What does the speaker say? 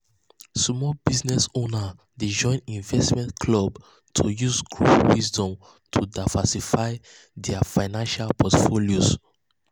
small business owners dey join investment clubs to use group wisdom to diversify dia financial portfolios.